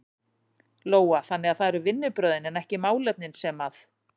Lóa: Þannig að það eru vinnubrögðin en ekki málefnin sem að?